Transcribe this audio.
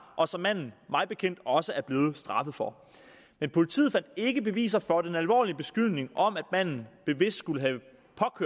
og som manden mig bekendt også er blevet straffet for men politiet fandt ikke beviser for den alvorlige beskyldning om at manden bevidst skulle have